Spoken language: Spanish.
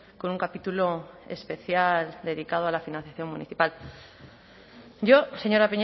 con un capítulo especial dedicado a la financiación municipal yo señora